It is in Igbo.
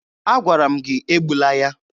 Agwara m gị egbula ya!